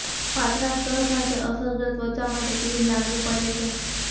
પાતળા સ્તર સાથે અસરગ્રસ્ત ત્વચા માટે ક્રીમ લાગુ પડે છે